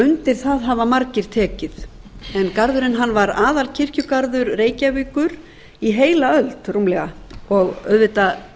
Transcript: undir það hafa margir tekið en garðurinn var aðalkirkjugarður reykjavíkur í heila öld rúmlega og auðvitað